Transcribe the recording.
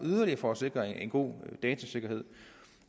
for at sikre en god datasikkerhed